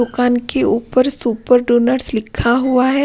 दुकान के ऊपर सुपर डोनट्स लिखा हुआ।